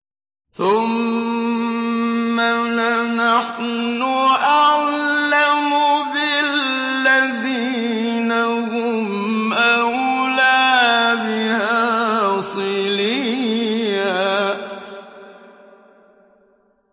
ثُمَّ لَنَحْنُ أَعْلَمُ بِالَّذِينَ هُمْ أَوْلَىٰ بِهَا صِلِيًّا